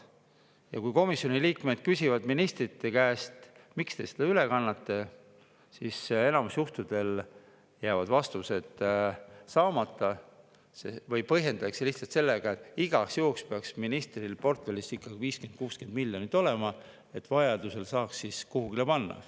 Ja kui komisjoni liikmed küsivad ministrite käest, miks te seda üle kannate, siis enamikul juhtudel jäävad vastused saamata või põhjendatakse lihtsalt sellega, et igaks juhuks peaks ministril portfellis 50–60 miljonit olema, et vajadusel saaks seda kuhugi panna.